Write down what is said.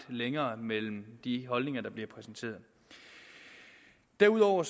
længere mellem de holdninger der bliver præsenteret derudover